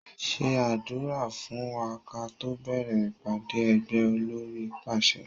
Ṣé àdúrà fún wa káto bẹ̀rẹ̀ ìpàdé ẹgbẹ́! Olórí pàṣẹ